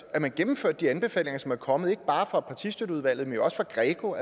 at man gennemførte de anbefalinger som er kommet ikke bare fra partistøtteudvalget men også fra greco